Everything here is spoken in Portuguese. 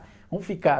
Vamos ficar.